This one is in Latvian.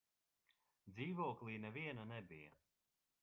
dzīvoklī neviena nebija